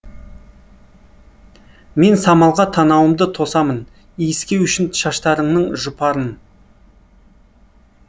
мен самалға танауымды тосамын иіскеу үшін шаштарыңның жұпарын